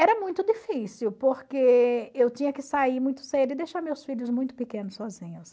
Era muito difícil, porque eu tinha que sair muito cedo e deixar meus filhos muito pequenos sozinhos.